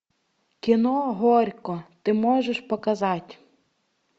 кино горько ты можешь показать